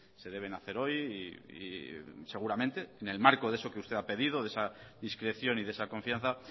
se deben hacer hoy y seguramente en el marco ese que usted ha pedido de esa discreción y de esa confianza